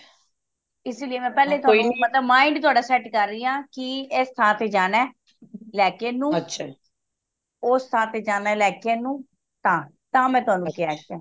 ਇਸ ਲਈ ਮੈਂ ਤੁਹਾਨੂੰ ਮਤਲਬ mind ਤੁਹਾਡਾ set ਕਰ ਰਹੀ ਹਾ ਕਿ ਇਸ ਥਾਂ ਤੇ ਜਾਣਾ ਲੈ ਕੇ ਏਨੂੰ ਉਸ ਥਾਂ ਤੇ ਲੈ ਕੇ ਏਨੂੰ ਤਾ ਤਾ ਮੈਂ ਤੁਹਾਨੂੰ ਕਿਆ